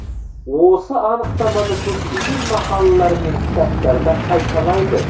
осы анықтаманы көптеген мақалалар мен кітаптарда қайталайды